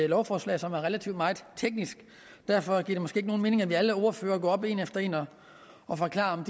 lovforslag som er relativt teknisk derfor giver det måske ikke nogen mening at alle ordførere går op en efter en og og forklarer